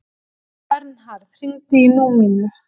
Vernharð, hringdu í Númínu.